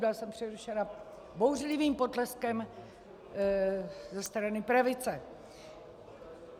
Byla jsem přerušena bouřlivým potleskem ze strany pravice.